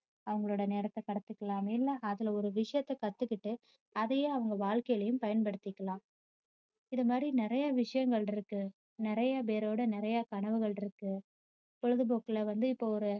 அவங்களோட நேரத்தை கடத்திக்கலாமே இல்ல அதுல ஒரு விஷயத்த கத்துக்கிட்டு அதையே அவங்க வாழ்க்கையிலும் பயன்படுத்திக்கலாம். இது மாதிரி நிறைய விஷயங்கள் இருக்கு நிறைய பேரோட நிறைய கனவுகள் இருக்கு பொழுதுபோக்குல வந்து இப்போ ஒரு